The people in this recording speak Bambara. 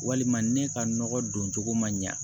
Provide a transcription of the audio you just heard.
Walima ne ka nɔgɔ don cogo ma ɲa